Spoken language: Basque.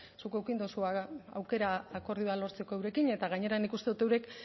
zuk eduki duzu aukera akordioa lortzeko eurekin eta gainera nik uste dut eurek